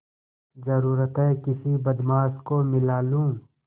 जरुरत हैं किसी बदमाश को मिला लूँ